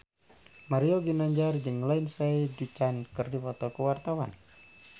Mario Ginanjar jeung Lindsay Ducan keur dipoto ku wartawan